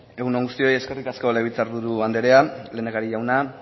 egun on guztioi eskerrik asko legebiltzar buru anderea lehendakari jauna